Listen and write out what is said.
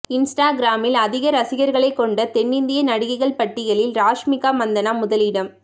இன்ஸ்டாகிராமில் அதிக ரசிகர்களை கொண்ட தென்னிந்திய நடிகைகள் பட்டியலில் ராஷ்மிகா மந்தனா முதலிடம்